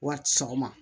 Wari sɔgɔma